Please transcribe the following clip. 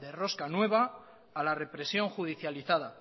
de rosca nueva a la represión judicializada